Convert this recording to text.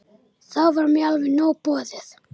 Þá var mér alveg nóg boðið.